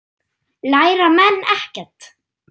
Læra menn ekkert?